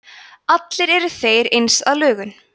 allir eru þeir eins að lögun